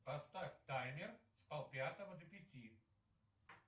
поставь таймер с пол пятого до пяти